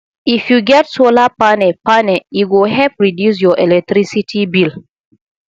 if you get solar panel panel e go help reduce your electricity bill